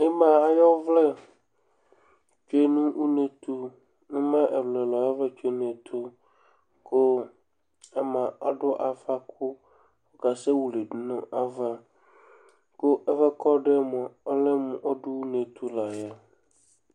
Ɩma ayʋ ɔvlɛ tsue nʋ une tʋ Ɩma ɛlʋ-ɛlʋ ayʋ ɔvlɛ tsue nʋ une tʋ kʋ ama adʋ ava kʋ ɔkasɛwili dʋ nʋ ava kʋ ɛfʋ yɛ kʋ ɔdʋ yɛ mʋa, ɔlɛ mʋ ɔdʋ une tʋ la yɛ